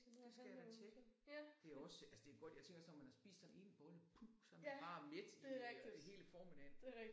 Det skal jeg da tjekke. Det også altså det godt jeg tænker også når man har spist sådan en bolle puh så er man bare mæt i øh i hele formiddagen